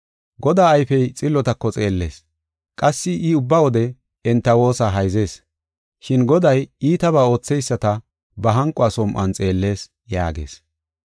Godaa ayfey xillotako xeellees; qassi I ubba wode enta woosa hayzees. Shin Goday iitabaa ootheyisata ba hanqo som7uwan xeellees” yaagees.